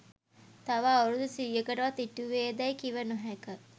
තව අවුරුදු සීයකටවත් ඉටුවේදැයි කිව නොහැක